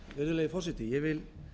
virðulegi forseti ég vil